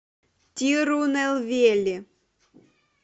тирунелвели